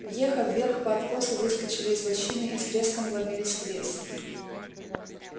въехав вверх по откосу выскочили из лощины и с треском вломились в лес